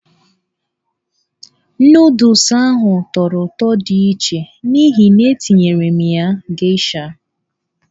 Nụdụls ahụ tọrọ ụtọ di iche n'ihi na-etinyere m ya geisha.